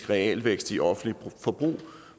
realvækst i offentligt forbrug